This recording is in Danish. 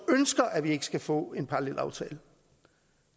ønsker at vi skal få en parallelaftale